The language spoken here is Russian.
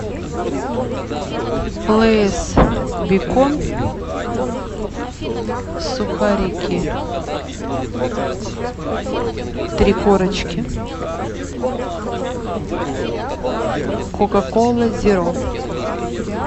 лейс бекон сухарики три корочки кока кола зеро